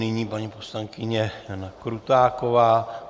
Nyní paní poslankyně Jana Krutáková.